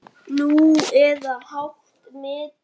Nú, eða hátt metin.